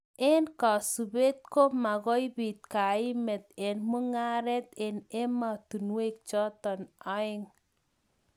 Eng kasubet ko makoi bit kaimet eng mungaret eng ematunwek chotok aeng.